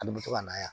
An bɛ to ka na yan